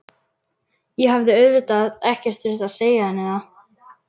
Ég hafði auðvitað ekkert þurft að segja henni það.